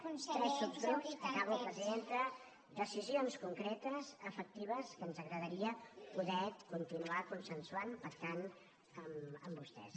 tres subgrups acabo presidenta decisions concretes efectives que ens agradaria poder continuar consensuant per tant amb vostès